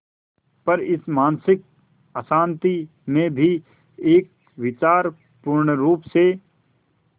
पर इस मानसिक अशांति में भी एक विचार पूर्णरुप से